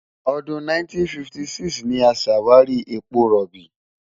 Ọdún 1956 ni a ṣàwárí epo rọ̀bì.